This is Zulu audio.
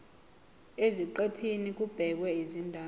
eziqephini kubhekwe izindaba